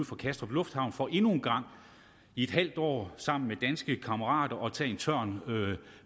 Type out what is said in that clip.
fra kastrup lufthavn for endnu en gang i et halvt år sammen med danske kammerater at tage en tørn